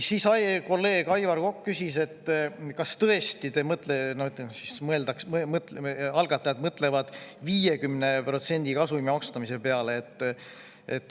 Kolleeg Aivar Kokk küsis, kas tõesti algatajad mõtlevad 50% kasumi maksustamise peale.